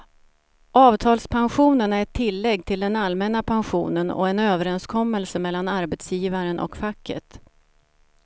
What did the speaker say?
Avtalspensionen är ett tillägg till den allmänna pensionen och en överenskommelse mellan arbetsgivaren och facket.